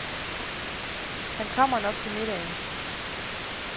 Han kommer nok til middagen.